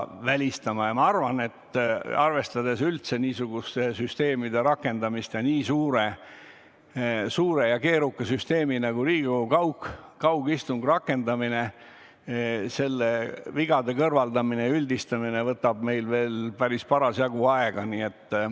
Ma arvan, et arvestades üldse niisuguste süsteemide rakendamist, eriti kui tegu on nii suure ja keeruka süsteemiga, nagu on Riigikogu kaugistungi rakendamine, siis selle vigade kõrvaldamine ja kogemuste üldistamine võtab veel parasjagu aega.